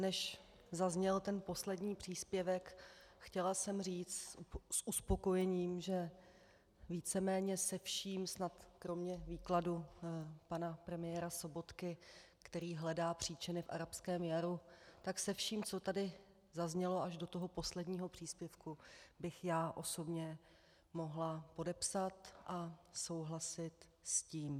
Než zazněl ten poslední příspěvek, chtěla jsem říct s uspokojením, že víceméně se vším snad kromě výkladu pana premiéra Sobotky, který hledá příčiny v arabském jaru, tak se vším, co tady zaznělo až do toho posledního příspěvku, bych já osobně mohla podepsat a souhlasit s tím.